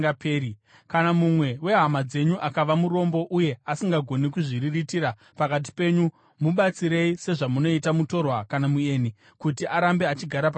“ ‘Kana mumwe wehama dzenyu akava murombo uye asisagoni kuzviriritira pakati penyu, mubatsirei sezvamunoita mutorwa kana mueni kuti arambe achigara pakati penyu.